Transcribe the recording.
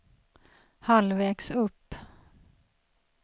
halvvägs upp